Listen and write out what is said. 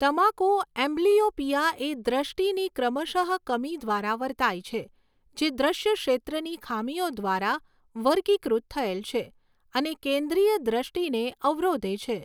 તમાકુ એમ્બલિયોપિયા એ દ્રષ્ટિની ક્રમશઃ કમી દ્વારા વર્તાય છે, જે દ્રશ્ય ક્ષેત્રની ખામીઓ દ્વારા વર્ગીકૃત થયેલ છે અને કેન્દ્રીય દ્રષ્ટિને અવરોધે છે.